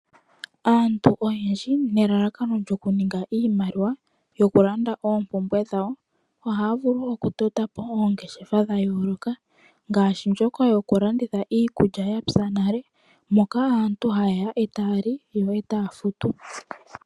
Aantu oyendji nelalakano lyokuninga iimaliwa yokulanda oompumbwe dhawo ohaya vulu wo okutota po oongeshefa dha yooloka, ngaashi ndjoka yokulanditha iikulya ya pya nale, moka aantu haye ya e taya li yo e taya futu.